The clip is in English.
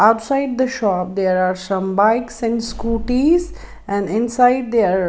outside the shop there are some bikes and scooties and inside there are --